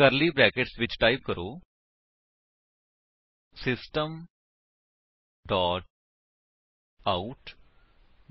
ਕਰਲੀ brackets ਵਿੱਚ type ਕਰੋ system dot out